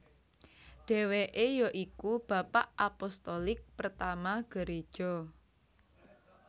Dèwèkè yoiku Bapa Apostolik pertama Gereja